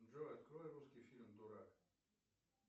джой открой русский фильм дурак